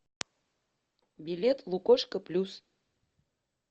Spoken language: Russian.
билет лукошко плюс